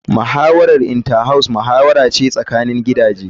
Muhawarar Inter house muhawara ce tsakanin gidaje.